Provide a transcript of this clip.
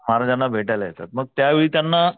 महाराजांना भेटायला येतात मग त्या वेळी त्यांना,